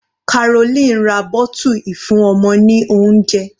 Caroline ra bottle ìfúnọmọ ní oúnjẹ.